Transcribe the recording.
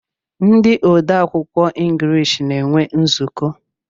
Ndi ode akwụkwọ englishi na-enwe nzuko